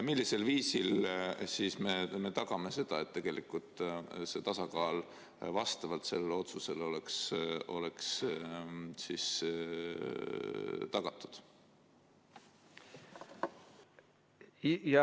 Millisel viisil me siis tagaksime selle, et tasakaal vastavalt sellele otsusele oleks tagatud?